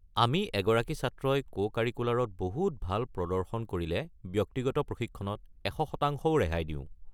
আমি এগৰাকী ছাত্ৰই কো-কাৰিকুলাৰত বহুত ভাল প্ৰদৰ্শন কৰিলে ব্যক্তিগত প্ৰশিক্ষণত এশ শতাংশও ৰেহাই দিওঁ।